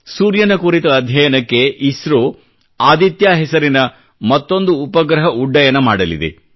ಸೂರ್ಯನ ಕುರಿತ ಅಧ್ಯಯನಕ್ಕೆ ಇಸ್ರೋ ಆದಿತ್ಯ ಹೆಸರಿನ ಮತ್ತೊಂದು ಉಪಗ್ರಹ ಉಡ್ಡಯನ ಮಾಡಲಿದೆ